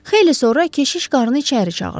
Xeyli sonra keşiş qarı içəri çağırdı.